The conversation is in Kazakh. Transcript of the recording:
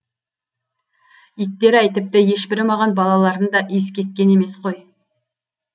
иттер ай тіпті ешбірі маған балаларын да иіскеткен емес қой